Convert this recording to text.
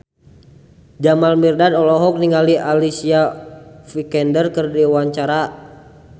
Jamal Mirdad olohok ningali Alicia Vikander keur diwawancara